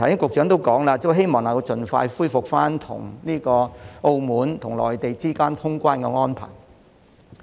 局長剛才表示，希望能盡快恢復與澳門和內地之間的通關安排。